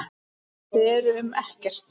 Þau eru um Ekkert.